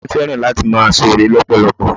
Ìyá mi fẹ́ràn láti máa sore lọpọlọpọ.